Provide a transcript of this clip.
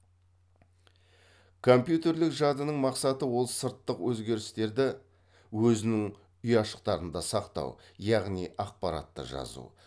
компьютерлік жадының мақсаты ол сырттық өзгерістерді өзінің ұяшықтарында сақтау яғни ақпаратты жазу